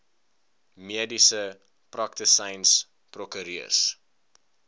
mediese praktisyns prokureurs